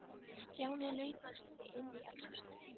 Stjáni laumaðist því inn í eldhúsið.